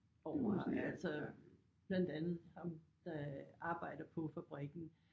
Over altså blandt andet ham der arbejder på fabrikken